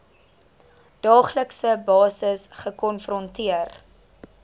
daaglikse basis gekonfronteer